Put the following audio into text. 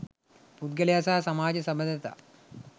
පුද්ගලයා සහ සමාජ සබඳතා